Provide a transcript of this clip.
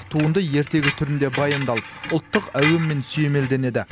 туынды ертегі түрінде баяндалып ұлттық әуенмен сүйемелденеді